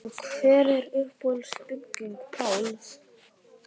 En hver er uppáhalds bygging Páls?